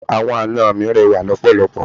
Àwọn ana mi rẹwà lọpọlọpọ.